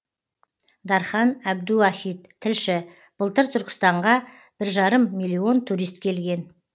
дархан әбдуахит тілші былтыр түркістанға бір жарым миллион турист келген